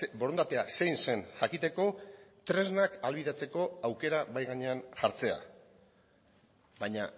borondatea zein zen jakiteko tresnak ahalbidetzeko aukera mahai gainean jartzea baina